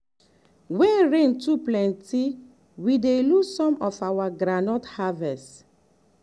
when rain too plenty we dey lose some of our groundnut harvest.